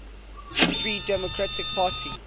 free democratic party